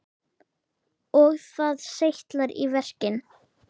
Og það seytlar í verkin.